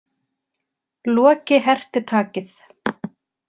Loki herti takið.